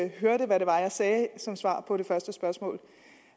hørte hvad det var jeg sagde som svar på det første spørgsmål og